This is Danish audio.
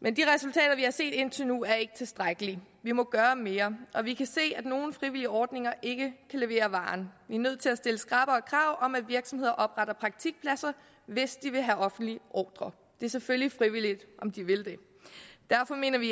men de resultater vi har set indtil nu er ikke tilstrækkelige vi må gøre mere og vi kan se at nogle frivillige ordninger ikke kan levere varen vi er nødt til at stille skrappere krav om at virksomheder opretter praktikpladser hvis de vil have offentlige ordrer det er selvfølgelig frivilligt om de vil det derfor mener vi